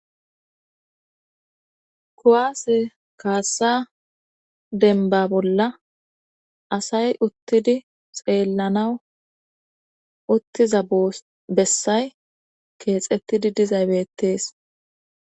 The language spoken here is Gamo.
Kuwaase kaassa denba bolla asay uttidi xeellanaw uttiza bessay keexettidi dizaybeettees